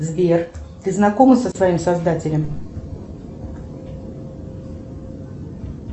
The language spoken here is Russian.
сбер ты знакома со своим создателем